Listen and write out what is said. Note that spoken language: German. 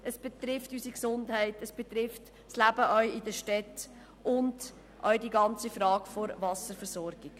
Es betrifft unsere Gesundheit, es betrifft das Leben auch in den Städten und auch die ganze Frage der Wasserversorgung.